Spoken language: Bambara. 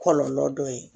Kɔlɔlɔ dɔ ye